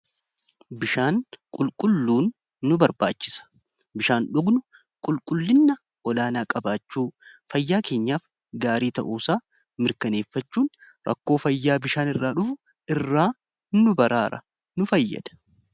Bishaan qulqulluun nu barbaachisa. Bishaan dhugnu qulqullinna olaanaa qabaachuu fayyaa kenyaaf gaarii ta'uusa mirkaneeffachuun rakkoo fayyaa bishaan irraa dhufu irraa nu baraara nu fayyada.